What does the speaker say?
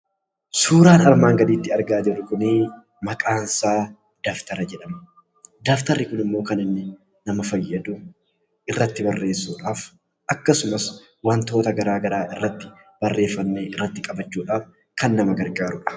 Suuraan armaan gaditti argaa jirru kunii maqaan isaa dabtara jedhama. Dabtarri kun immoo kan inni nama fayyadu irratti barreessuudhaaf akkasumas wantoota garaagaraa irratti barreeffannee irratti qabachuudhaaf kan nama gargaaruudha.